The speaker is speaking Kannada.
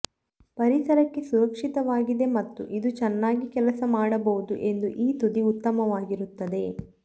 ಪರಿಸರಕ್ಕೆ ಸುರಕ್ಷಿತವಾಗಿದೆ ಮತ್ತು ಇದು ಚೆನ್ನಾಗಿ ಕೆಲಸ ಮಾಡಬಹುದು ಎಂದು ಈ ತುದಿ ಉತ್ತಮವಾಗಿರುತ್ತದೆ